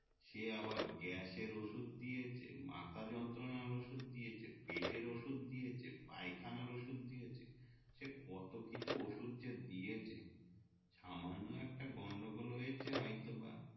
সে আবার গ্যাসের ওষুধ দিয়েছে মাথা জন্তনার ওষুধ দিয়েছে পেটের ওষুধ দিয়েছে পায়খানার ওষুধ দিয়েছে সে কত কিছু ওষুধ যে দিয়েছে সামান্য একটা গন্ডগোল হয়েছে হয়তোবা